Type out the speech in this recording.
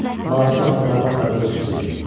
Mavi səma parlaq və buludsuz idi.